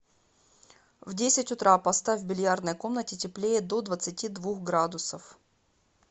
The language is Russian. в десять утра поставь в бильярдной комнате теплее до двадцати двух градусов